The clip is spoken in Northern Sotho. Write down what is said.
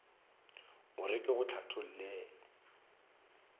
o re ke go hlathollele